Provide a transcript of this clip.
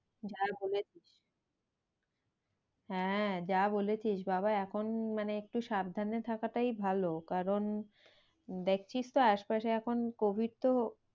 যা বলেছিস। হ্যাঁ যা বলেছিস বাবা এখন মানে একটু সাবধানে থাকাটাই ভালো কারণ দেখছিস তো আশপাশে এখন covid তো